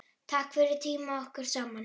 Takk fyrir tímann okkar saman.